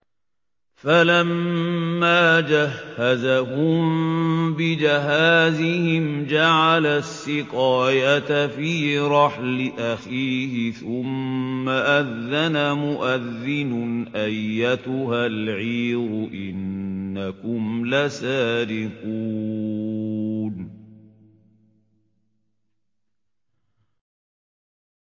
فَلَمَّا جَهَّزَهُم بِجَهَازِهِمْ جَعَلَ السِّقَايَةَ فِي رَحْلِ أَخِيهِ ثُمَّ أَذَّنَ مُؤَذِّنٌ أَيَّتُهَا الْعِيرُ إِنَّكُمْ لَسَارِقُونَ